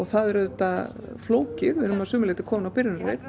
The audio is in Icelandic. það er auðvitað flókið við erum að sumu leyti komin á byrjunarreit